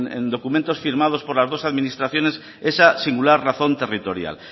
en documentos firmados por las dos administraciones esa singular razón territorial